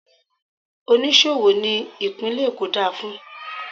Oníṣòwò ni ìpínlè Èkó dá a fún.